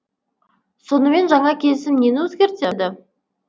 сонымен жаңа келісім нені өзгертеді